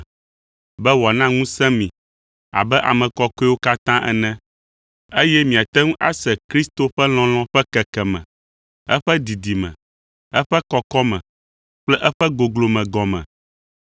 be wòana ŋusẽ mi abe ame kɔkɔewo katã ene, eye miate ŋu ase Kristo ƒe lɔlɔ̃ ƒe kekeme, eƒe didime, eƒe kɔkɔme kple eƒe goglome gɔme,